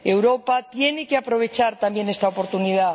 Europa tiene que aprovechar, también, esta oportunidad.